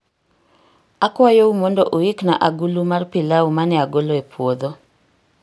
Akwayou mondo uikna agulu mar pilau ma ne agolo e puodho.